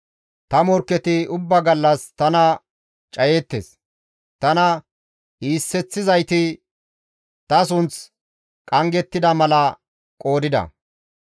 Ta morkketi ubbaa gallas tana cayeettes; tana iiseththizayti ta sunth qanggettida mala qoodida.